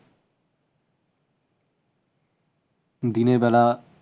দিনের বেলা